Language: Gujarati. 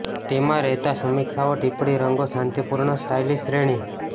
તેમાં રહેતા સમીક્ષાઓ ટિપ્પણી રંગો શાંતિપૂર્ણ સ્ટાઇલિશ શ્રેણી